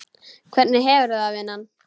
Hvernig hefurðu það, vinan?